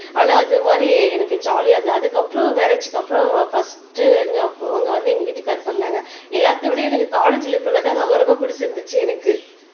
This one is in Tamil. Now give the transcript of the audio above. ஆனா அது மாரி எனக்கு ஜாலியா இருந்தது அதுக்கப்புறம் மேரேஜ்க்கு அப்புறம் பர்ஸ்ட் அவங்க வந்து எங்க வீட்டுக்காரர் பன்னாங்க எல்லாத்தையும் விட எனக்கு காலேஜ்ல பண்ணதுதான் ரொம்ப ரொம்ப பிடிச்சிருந்துச்சு எனக்கு